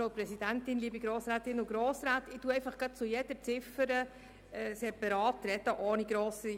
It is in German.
Ich nehme zu jeder Ziffer separat Stellung.